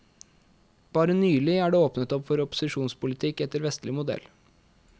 Bare nylig er det åpnet opp for opposisjonspolitikk etter vestlig modell.